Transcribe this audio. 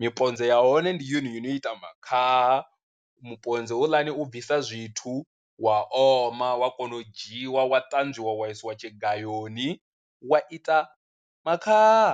miponze ya hone ndi yone yo ita makhaha, muponze houḽani u bvisa zwithu wa oma wa kona u dzhiiwa wa ṱanzwiwa wa isiwa tshigayoni wa ita makhaha.